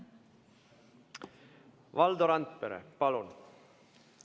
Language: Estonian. Valdo Randpere, palun!